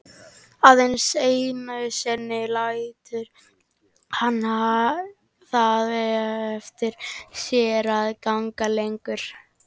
Aðeins einu sinni lætur hann það eftir sér að ganga lengra.